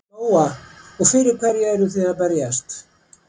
Lóa: Og fyrir hverju eruð þið að berjast?